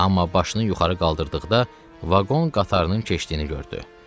Amma başını yuxarı qaldırdıqda vaqon qatarının keçdiyini gördü.